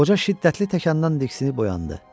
Qoca şiddətli təzyiqdən diksinib oyandı.